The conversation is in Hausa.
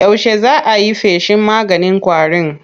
Yaushe za a yi feshin maganin ƙwarin?